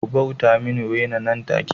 Ku bauta mini Wena nan take